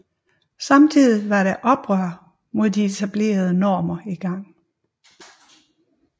Samtidig var der et oprør mod de etablerede normer i gang